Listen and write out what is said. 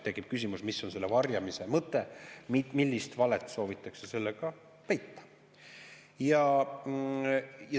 Tekib küsimus, mis on selle varjamise mõte, millist valet soovitakse sellega peita.